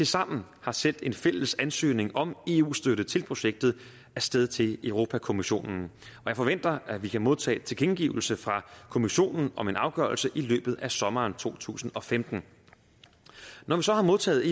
sammen har sendt en fælles ansøgning om eu støtte til projektet af sted til europa kommissionen og jeg forventer at vi kan modtage tilkendegivelse fra kommissionen om en afgørelse i løbet af sommeren to tusind og femten når vi så har modtaget